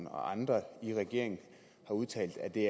og andre i regeringen har udtalt at det